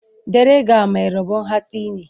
Dare ga mai rabo hantsi ne.